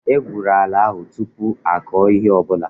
E gwụrụ ala ahu tụpụ akọ ihe ọbụla